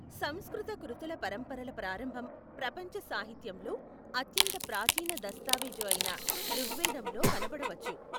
సంస్కృత కృతుల పరంపరల ప్రారంభం ప్రపంచ సాహిత్యంలో అత్యంత ప్రాచీన దస్తావేజు అయిన ఋగ్వేదంలో కనపడవచ్చు.